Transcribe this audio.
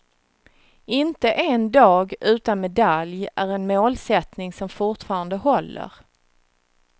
Inte en dag utan medalj är en målsättning som fortfarande håller.